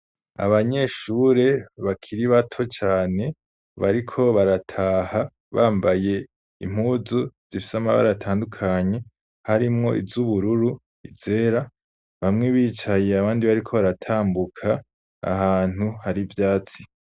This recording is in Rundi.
Abanyeshure bakiri bato cyane bariko barataha bambaye impuzu zifitse ama baratandukanye, harimwo iz'ubururu, izera, bamwe bicaye, abandi bariko baratambuka, ahantu hari vyatsi.